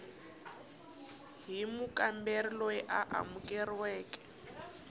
hi mukamberi loyi a amukeriweke